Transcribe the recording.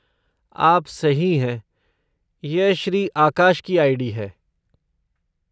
आप सही हैं, यह श्री आकाश की आई.डी. है।